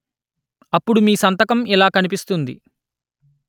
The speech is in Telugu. అప్పుడు మీ సంతకం ఇలా కనిపిస్తుంది